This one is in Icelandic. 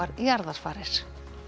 jarðarfarir